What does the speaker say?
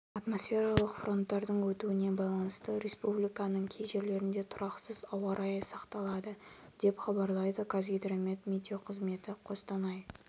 атмосфералық фронттардың өтуіне байланысты республиканың кей жерлерінде тұрақсыз ауа райы сақталады деп хабарлайды қазгидромет метеоқызметі қостанай